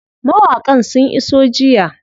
Mawaƙan sun iso jiya.